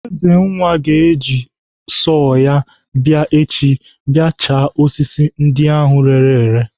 Ezenwa ga-eji sọọ ya abịa echi bịa chaa osisi ndị ahụ reere ere.